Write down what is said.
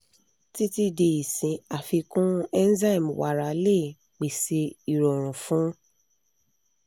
titi di isin afikun enzyme wara le pese irorun fun